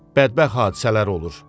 Bədbəxt hadisələr olur.